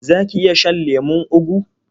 Za ki iya shan lemon ugu?